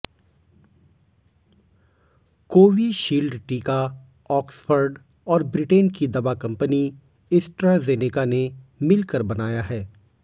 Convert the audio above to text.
Covishield टीका Oxford और Britain की दवा कंपनी एस्ट्राजेनेका ने मिलकर बनाया है